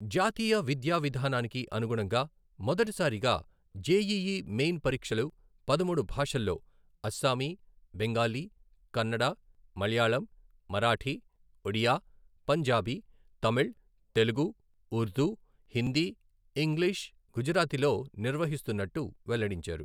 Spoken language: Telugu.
జాతీయ విద్యా విధానానికి అనుగుణంగా మొదటి సారిగా జెఇఇ మెయిన్ పరీక్షలు పదమూడు భాషల్లో అస్సామీ, బెంగాలీ, కన్నడ, మలయాళం, మరాఠీ, ఒడియా, పంజాబీ, తమిళ్, తెలుగు, ఉర్దూ, హిందీ, ఇంగ్లిష్, గుజరాతీ లో నిర్వహిస్తున్నట్టు వెల్లడించారు.